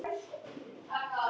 Það kostar fórnir.